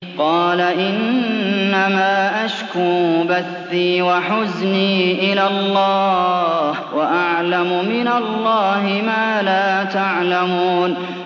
قَالَ إِنَّمَا أَشْكُو بَثِّي وَحُزْنِي إِلَى اللَّهِ وَأَعْلَمُ مِنَ اللَّهِ مَا لَا تَعْلَمُونَ